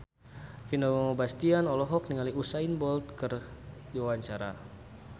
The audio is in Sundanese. Vino Bastian olohok ningali Usain Bolt keur diwawancara